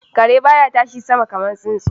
Kare ba ya tashi sama kamar tsuntsu.